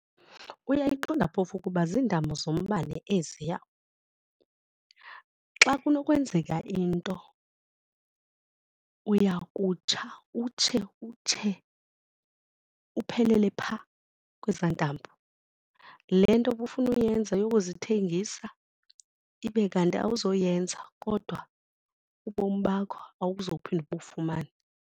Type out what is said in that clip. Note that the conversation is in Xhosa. Uayiqonda phofu ukuba ziintambo zombane eziya? Xa kunokwenzeka into uya kutsha utshe utshe uphelele phaa kweza intambo. Le nto bufuna uyenza yokuzithengisa ibe kanti awuzoyenza kodwa ubomi bakho awuzuphinda ubufumane.